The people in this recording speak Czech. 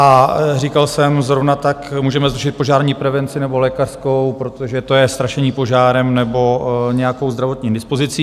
A říkal jsem, zrovna tak můžeme zrušit požární prevenci nebo lékařskou, protože to je strašení požárem nebo nějakou zdravotní indispozicí.